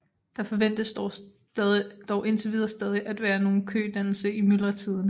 Der forventes dog indtil videre stadig at være nogen kødannelse i myldretiderne